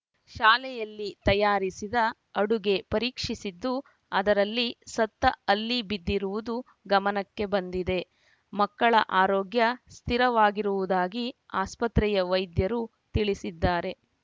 ಶಾಲೆಯಲ್ಲಿ ತಯಾರಿಸಿದ ಅಡುಗೆ ಪರೀಕ್ಷಿಸಿದ್ದು ಅದರಲ್ಲಿ ಸತ್ತ ಹಲ್ಲಿ ಬಿದ್ದಿರುವುದು ಗಮನಕ್ಕೆ ಬಂದಿದೆ ಮಕ್ಕಳ ಆರೋಗ್ಯ ಸ್ಥಿರವಾಗಿರುವುದಾಗಿ ಆಸ್ಪತ್ರೆಯ ವೈದ್ಯರು ತಿಳಿಸಿದ್ದಾರೆ